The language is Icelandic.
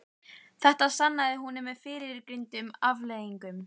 Þetta sannaði hún með fyrrgreindum afleiðingum.